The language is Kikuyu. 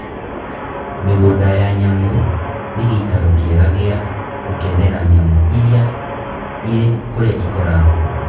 Mĩgũnda ya nyamũ nĩ gĩikaro kĩega gĩa gũkenera nyamũ irĩ kũrĩa ikoragwo.